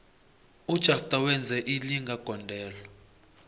ujafter wenze ilinga gondelo